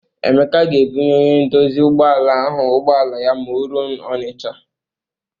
Emeka ga-ebunye onye ndozi ụgbọala ahụ ụgbọala ya ma o ruo Ọnịcha.